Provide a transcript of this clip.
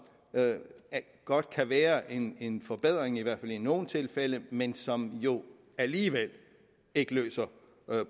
godt kan være en en forbedring i hvert fald i nogle tilfælde men som jo alligevel ikke løser